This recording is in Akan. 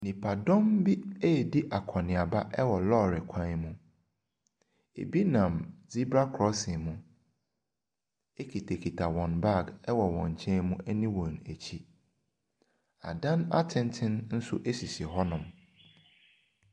Nnipadɔm bi redi akɔnneaba wɔ lɔre kwan mu. Ebi nam zebra crossing mu kitakita wɔn bag wɔ wɔn nkyɛn mu ne wɔn akyi. Adan atenten nso sisi hɔnom.